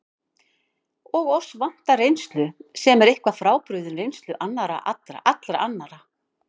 Og oss vantar reynslu, sem er eitthvað frábrugðin reynslu allra annarra.